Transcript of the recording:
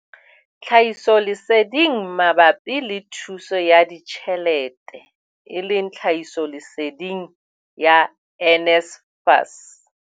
Tlhahisoleseding mabapi le thuso ya ditjhelete eleng tlhahisoleseding ya NSFAS.